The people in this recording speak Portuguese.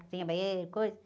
Cozinha, banheira e coisa.